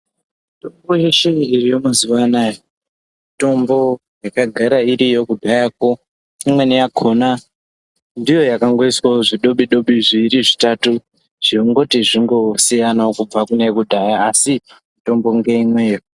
Mutombo yeshe iriyo mazuwa anaya mitombo yakagara iriyo kudharakwo imweni yakhona ndiyo yakangoiswawo zvidobi dobi zviiri zvitatu zvekungoti zvingosiyanawo kubve kune yekudhaya asi mitombo ngeimweyo.